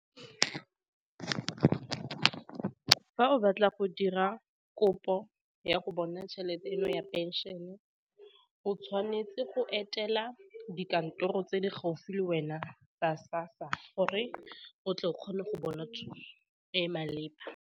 Fa o batla go dira kopo ya go bona tšhelete eno ya pension-e, o tshwanetse go etela dikantoro tse di gaufi le wena ka SASSA gore o tle o kgone go bona thuso e maleba.